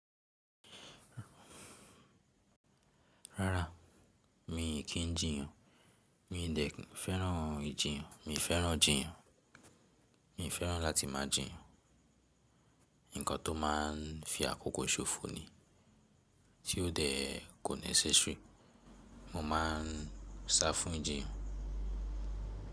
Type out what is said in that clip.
Rárá mi kì í jíyàn, mii dẹ̀ fẹ́ràn ìjiyàn, mi fẹ́ràn jíyàn, mi fẹ́ràn láti máa jíyàn. Ǹkan tó má a fi àkókò ṣòfò ni tí ó dẹ̀ kò ní sẹ́sù. Mo ma ń sá fún ìjiyàn.